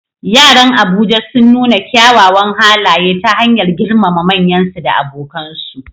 Yaran Abuja sun nuna kyawawan halaye ta hanyar girmama manyansu da abokansu.